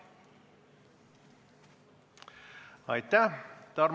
Aitäh!